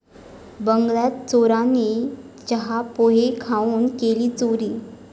बंगल्यात चोरांनी चहा, पोहे खाऊन केली चोरी